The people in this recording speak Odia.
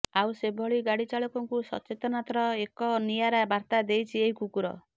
ଆଉ ସେଭଳି ଗାଡିଚାଳକଙ୍କୁ ସଚେତନତାର ଏକ ନିଆରା ବାର୍ତ୍ତା ଦେଇଛି ଏହି କୁକୁର